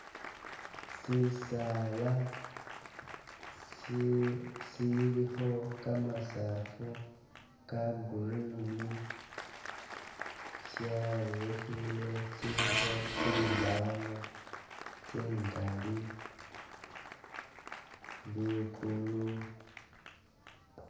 Shisaala shilikho gamasaafu ga green sharurukhile shilikho zimbanu zingaali, liguulu.